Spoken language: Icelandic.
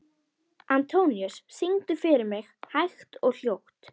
Antóníus, syngdu fyrir mig „Hægt og hljótt“.